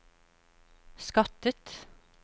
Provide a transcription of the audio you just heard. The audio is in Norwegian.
skattet